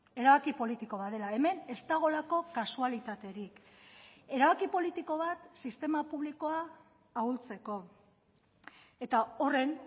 erabaki politiko bat dela hemen ez dagoelako kasualitaterik erabaki politiko bat sistema publikoa ahultzeko eta horren